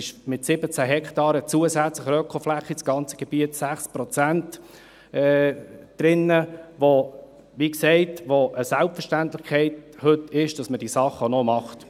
Mit 17 Hektaren zusätzlicher Ökofläche ist das ganze Gebiet zu 6 Prozent drin, wobei es – wie gesagt – heute eine Selbstverständlichkeit ist, dass man diese Dinge macht.